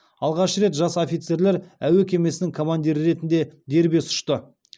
алғаш рет жас офицерлер әуе кемесінің командирі ретінде дербес ұшты